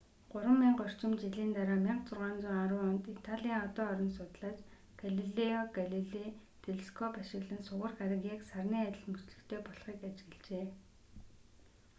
гурван мянга орчим жилийн дараа 1610 онд италийн одон орон судлаач галилео галилей телескоп ашиглан сугар гариг яг сарны адил мөчлөгтэй болохыг ажиглажээ